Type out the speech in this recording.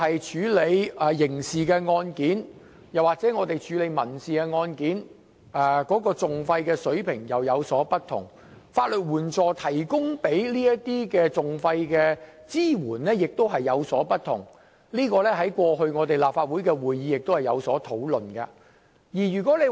處理刑事案件和民事案件的訟費水平當然會有不同，而法律援助就這些訟費提供的支援亦有所不同，這點在過去的立法會會議亦曾討論。